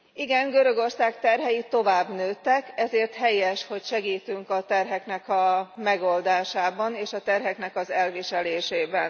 Igen, Görögország terhei tovább nőttek, ezért helyes, hogy segítünk a terheknek a megoldásában, és a terheknek az elviselésében.